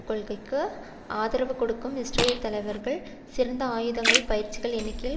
கொள்கைக்கு ஆதரவு கொடுக்கும் இஸ்ரேலிய தலைவர்கள் சிறந்த ஆயுதங்கள் பயிற்சிகள் எண்ணிக்கையில்